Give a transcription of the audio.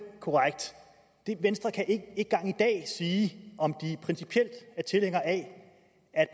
korrekt venstre kan ikke engang i dag sige om de principielt er tilhængere af at